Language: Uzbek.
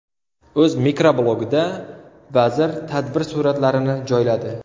O‘z mikroblogida vazir tadbir suratlarini joyladi.